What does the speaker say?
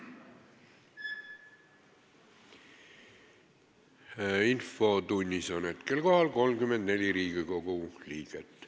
Kohaloleku kontroll Infotunnis on hetkel kohal 34 Riigikogu liiget.